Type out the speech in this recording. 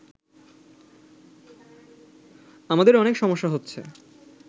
আমাদের অনেক সমস্যা হচ্ছে